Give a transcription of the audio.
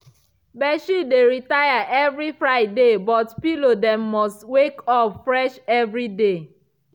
bedsheet dey retire evri friday but pillow dem must wake up fresh evriday.